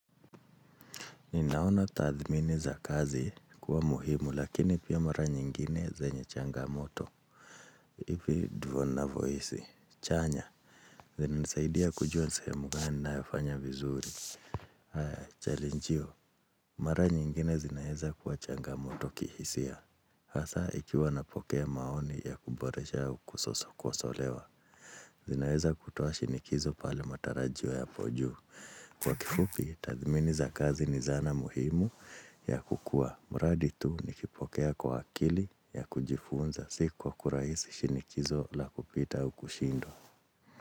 Ninaona tathmini za kazi kuwa muhimu lakini pia mara nyingine zenye changamoto. Hivi ndivyo ninavyohisi. Chanya. Zina nisaidia kujua sehemu gani ninayofanya vizuri. Haa challenge hiyo. Mara nyingine zinaeza kuwa changamoto kihisia. Hasa ikiwa napokea maoni ya kuboresha au kukosolewa. Zinaeza kutoa shinikizo pale matarajio yapo juu. Kwa kifupi, tathmini za kazi ni zana muhimu ya kukua. Mradi tu nikipokea kwa akili ya kujifunza si kwa kurahisi shinikizo la kupita au kushindwa.